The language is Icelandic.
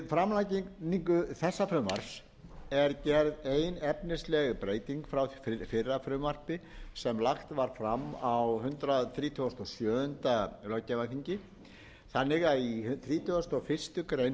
framlagningu þessa frumvarps er gerð ein efnisleg breyting frá fyrra frumvarpi sem lagt var fram á hundrað þrítugasta og sjöunda löggjafarþingi í þrítugasta og aðra grein